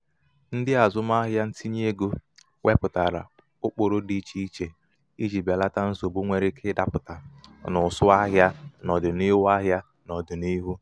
ndị azụmahịa ntinye ego wepụtara ụkpụrụ dị ichè ichè iji belata nsogbu.nwere ike ịdapụta n'ụsụ ahịa n'ọdịnihu ahịa n'ọdịnihu.